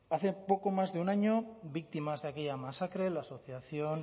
hace poco más de un año víctimas de aquella masacre la asociación